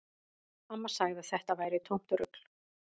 Amma sagði að þetta væri tómt rugl